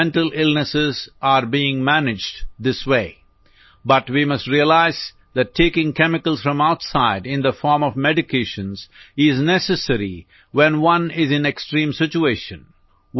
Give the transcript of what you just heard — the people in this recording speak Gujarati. mental illnesses are being managed this way but we must realise that taking chemicals from outside in the form of medications is necessary when one is in extreme situation